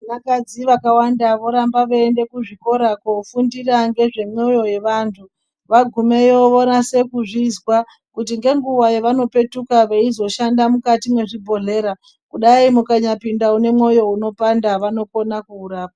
Neakadzi vakawanda vorambe veienda kuzvikora koofundira nezvemwoyo yevantu, vagumeyo vonase kuzvizwa kuti ngenguwa yevanopetuka veizoshanda mukati mezvibhedhlera kudai mukanyapinda une mwoyo unopanda vanokona kuurapa.